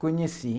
Conheci.